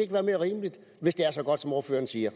ikke være mere rimeligt hvis det er så godt som ordføreren siger